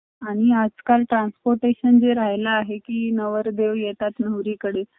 आणि आजकाल transportation जे राहायल आहे की नवरदेव येतात नवरीकडे